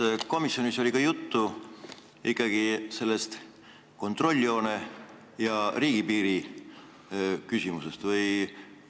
Kas komisjonis oli ikkagi juttu sellest kontrolljoone ja riigipiiri küsimusest?